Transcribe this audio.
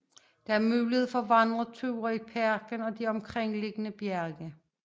Der er mulighed for vandreture i parken og de omkringliggende bjerge